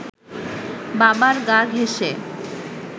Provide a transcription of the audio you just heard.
বাবার গা ঘেঁসে